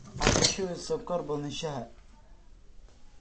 Ha ku shubin sonkor badan shaaha